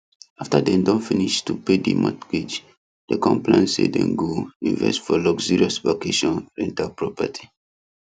after dem don finish to pay the mortgage dem con plan say dem go invest for luxurious vacation rental property